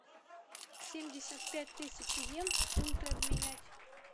семьдесят пять тысяч йен в фунты обменять